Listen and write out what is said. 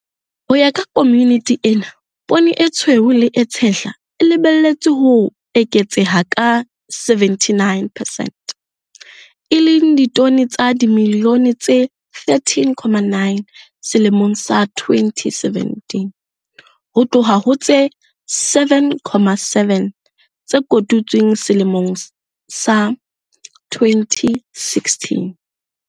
Ho ya ka komiti ena, poone e tshweu le e tshehla e lebelletswe ho eketseha ka 79 percent, e leng ditone tsa dimilione tse 13, 9 selemong sa 2017 ho tloha ho tse 7, 7 tse kotutsweng selemong sa 2016.